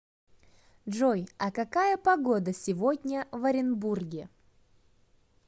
джой а какая погода сегодня в оренбурге